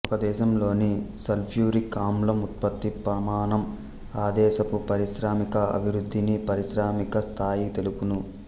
ఒకదేశంలోని sulphuric ఆమ్లం ఉత్పత్తి ప్రమాణం ఆదేశపు పారిశ్రామిక అభివృద్ధిని పారిశ్రామిక స్థాయి తెలుపును